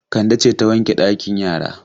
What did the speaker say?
Kande ce ta wanke ɗakin yara?